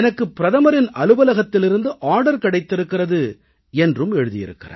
எனக்கு பிரதமரின் அலுவலகத்திலிருந்து ஆர்டர் கிடைத்திருக்கிறது என்று எழுதியிருக்கிறார்